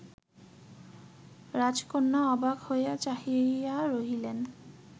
রাজকন্যা অবাক হইয়া চাহিয়া রহিলেন